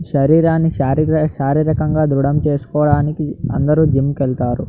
శారీరాన్ని శారీరక శారీరకంగా దృడం చేసుకోవడానికి. అందరూ జిమ్ కి వెళ్తారు.